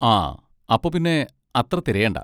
ആ, അപ്പൊ പിന്നെ അത്ര തിരയണ്ട.